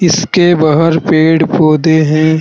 इसके बाहर पेड़ पौधे हैं।